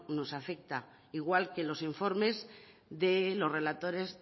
nos afecta igual que los informes de los relatores